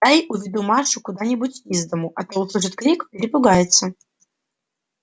дай уведу машу куда-нибудь из дому а то услышит крик перепугается